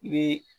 I bɛ